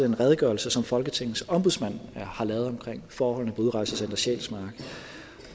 den redegørelse som folketingets ombudsmand har lavet om forholdene på udrejsecenter sjælsmark